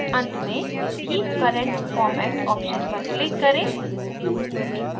अंत में keep current format option पर click करें